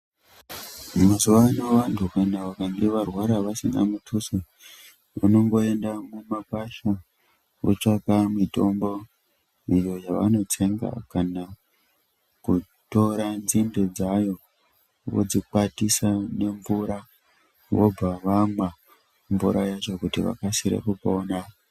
Mazuvano vantu kana vakange varwara vasina mutuso, vanongoenda mumakwasha votsvaka mitombo iyo yavanotsenga kana kutora nzinde dzayo vodzikwatisa nemvura vobva vamwa mvura yacho kuti vakasire kupona.